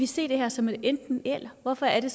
se det her som et enten eller hvorfor er